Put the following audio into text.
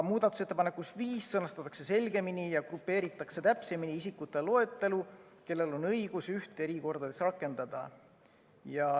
Muudatusettepanekus nr 5 sõnastatakse selgemini ja grupeeritakse täpsemini isikute loetelu, kellel on õigus ühte erikordadest rakendada.